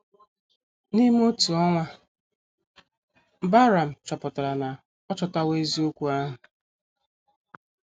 N’ime otu ọnwa, Bahram chọpụtara na ọ chọtawo eziokwu ahụ.